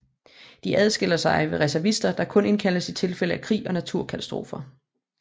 De adskiller sig fra reservister der kun indkaldes i tilfælde af krig eller naturkatastrofer